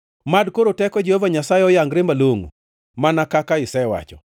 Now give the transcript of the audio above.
“Mad koro teko Jehova Nyasaye oyangre malongʼo, mana kaka isewacho: